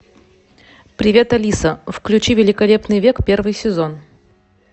привет алиса включи великолепный век первый сезон